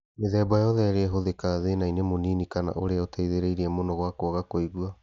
Mĩthemba yothe ĩrĩ ĩhũthĩkaga thĩna-inĩ mũnini kana ũrĩa ũtehĩrĩirie mũno wa kwaga kũigua